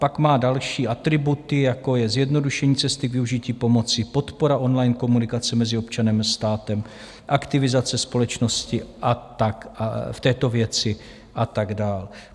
Pak má další atributy, jako je zjednodušení cesty využití pomoci, podpora on-line komunikace mezi občanem a státem, aktivizace společnosti v této věci a tak dále.